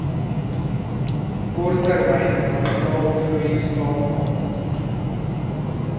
korttermyn kapitaalvloei staatmaak